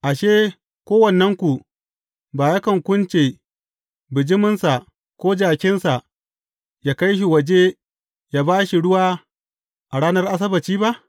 Ashe, kowannenku ba yakan kunce bijiminsa ko jakinsa, yă kai shi waje yă ba shi ruwa, a ranar Asabbaci ba?